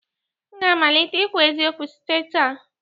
M ga-amalite ikwu eziokwu site taa